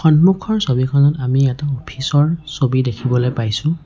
সন্মুখৰ ছবিখনত আমি এটা অফিচ ৰ ছবি দেখিবলে পাইছোঁ।